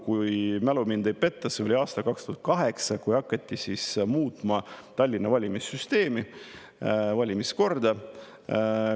Kui mälu mind ei peta, siis see oli aastal 2008, kui hakati muutma Tallinna valimissüsteemi, valimiskorda.